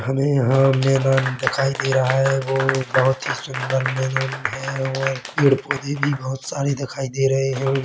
हमें यहाँ पर मैदान दिखाई दे रहा है गो बहुत ही सुंदर मैदान है और पेड़-पौधे भी बहुत सारे दिखाई दे रहे है।